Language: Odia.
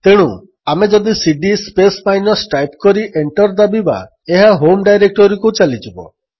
ତେଣୁ ଆମେ ଯଦି ସିଡି ସ୍ପେସ୍ ମାଇନସ୍ ଟାଇପ୍ କରି ଏଣ୍ଟର୍ ଦାବିବା ଏହା ହୋମ୍ ଡାଇରେକ୍ଟୋରୀକୁ ଚାଲିଯିବ